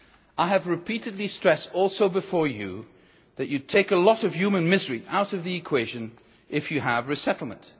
I have repeatedly stressed, including before you, that you take a lot of human misery out of the equation if you have resettlement.